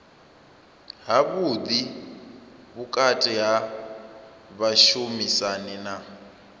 havhuḓi vhukati ha vhashumisani na